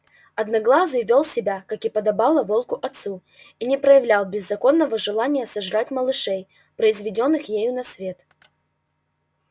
одноглазый вёл себя как и подобало волку отцу и не проявлял беззаконного желания сожрать малышей произведённых ею на свет